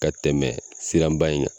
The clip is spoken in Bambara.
Ka tɛmɛ siranba in kan